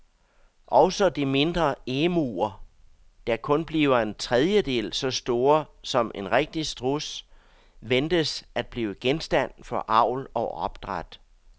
Også de mindre emuer, der kun bliver en tredjedel så store som en rigtig struds, ventes at blive genstand for avl og opdræt.